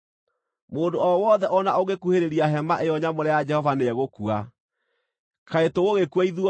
Mũndũ o wothe o na ũngĩkuhĩrĩria Hema-ĩyo-Nyamũre ya Jehova nĩegũkua. Kaĩ tũgũgĩkua ithuothe?”